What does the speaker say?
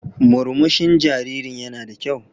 Murmushin jaririn yana da kyau.